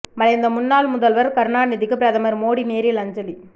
மறைந்த முன்னாள் முதல்வர் கருணாநிதிக்கு பிரதமர் மோடி நேரில் அஞ்சலி